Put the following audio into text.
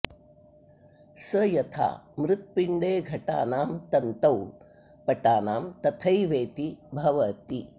स यथा मृत्पिण्डे घटानां तन्तौ पटानां तथैवेति भवति